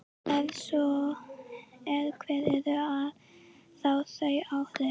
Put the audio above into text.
Ef svo er, hver eru þá þau áhrif?